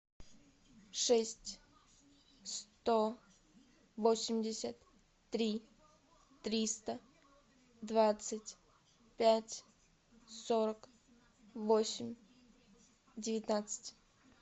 шесть сто восемьдесят три триста двадцать пять сорок восемь девятнадцать